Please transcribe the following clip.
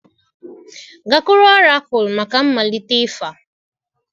Gakwuru ọrakụlụ maka mmalite ịfa!